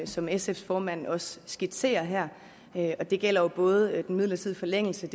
som sfs formand også skitserer her her det gælder både den midlertidige forlængelse